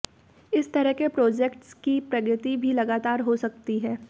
इस तरह के प्रोजेक्ट्स की प्रगति भी लगातार हो सकती है